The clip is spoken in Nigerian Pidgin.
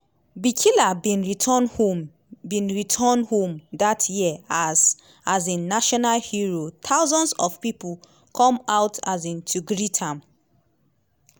bikila bin return home bin return home dat year as um national hero thousands of pipo come out um to greet am.